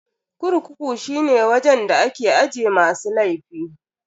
Kurkuku shine wajen da ake aje masu laifi.